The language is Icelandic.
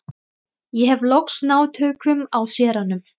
Ég hef loks náð tökum á séranum.